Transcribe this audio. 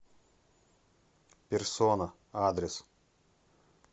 персона адрес